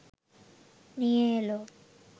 নিয়ে এল